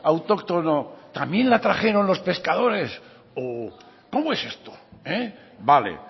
autóctono también la trajeron los pescadores o cómo es esto vale